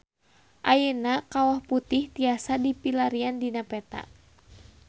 Ayeuna Kawah Putih tiasa dipilarian dina peta